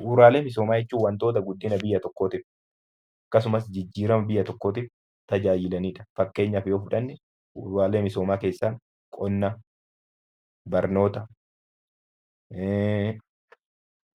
Bu'uuraalee misoomaa jechuun wantoota guddina biyya tokkootiif akkasumas jijjiirama biyya tokkootiif tajaajilaniidha fakkeenyaaf bu'uuraalee misoomaa keessaa qonna, barnoota